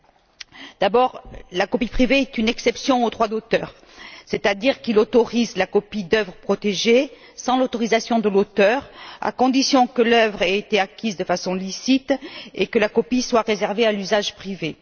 Tout d'abord, la copie privée est une exception au droit d'auteur, c'est à dire qu'elle autorise la copie d'œuvres protégées, sans l'autorisation de l'auteur, à condition que l'œuvre ait été acquise de façon licite et que la copie soit réservée à l'usage privé.